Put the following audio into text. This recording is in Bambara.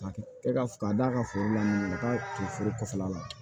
K'a kɛ ka d'a ka foro la ka taa foro kɔfɛla la